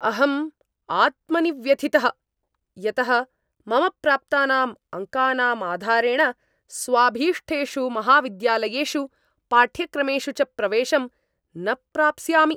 अहम् आत्मनि व्यथितः यतः मम प्राप्तानाम् अङ्कानां आधारेण स्वाभीष्टेषु महाविद्यालयेषु पाठ्यक्रमेषु च प्रवेशं न प्राप्स्यामि।